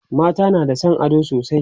mata na da San ado sosai